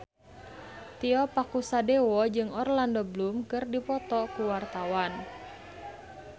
Tio Pakusadewo jeung Orlando Bloom keur dipoto ku wartawan